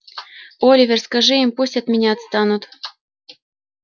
оливер скажи им пусть от меня отстанут